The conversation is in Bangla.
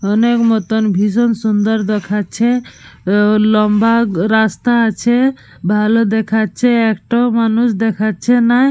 অনেক মতন ভীষণ সুন্দর দেখাচ্ছে। লম্বা রাস্তা আছে। ভালো দেখাচ্ছে। একটাও মানুষ দেখাচ্ছে না।